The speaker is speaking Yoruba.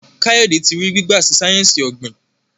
Kayode tí rí gbigba sí sáyẹnsì ogbin.